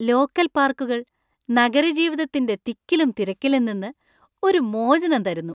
Local പാർക്കുകൾ നഗരജീവിതത്തിന്‍റെ തിക്കിലും തിരക്കിലും നിന്ന് ഒരു മോചനം തരുന്നു.